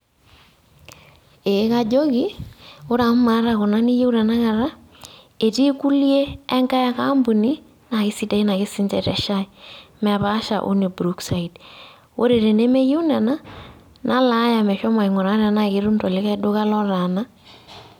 Ee kajoki, ore amu maata kuna niyieu tanakata, etii kulie enkae ake ampuni na kesidain ake sinche te shai. Mepaasha wene brookside. Ore tene meyieu nena, nalaaya meshomo aing'uraa tenaa ketum tolikae duka lotaana.